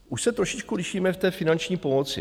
Už se trošičku lišíme v té finanční pomoci.